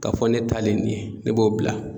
K'a fɔ ne talen nin ye, ne b'o bila